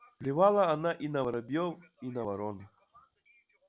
плевала она и на воробьёв и на ворон